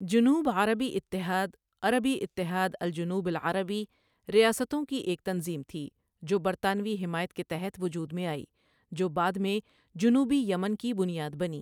جنوب عربی اتحاد عربی اتحاد الجنوب العربي ریاستوں کی ایک تنظیم تھی جو برطانوی حمایت کے تحت وجود میں آِئی جو بعد میں جنوبی یمن کی بنیاد بنی